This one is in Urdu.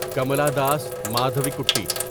کمالا داس مادھویکوٹی